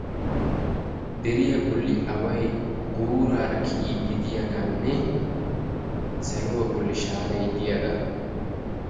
deriya bolli away guuraara kiyiddi diyagaanne saluwa bolli shaaray diyaga.